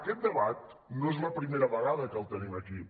aquest debat no és la primera vegada que el tenim aquí